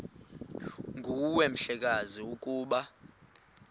nguwe mhlekazi ukuba